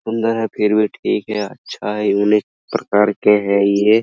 सुन्दर है फिर भी ठीक है अच्छा है यूनीक प्रकार के हैं ये।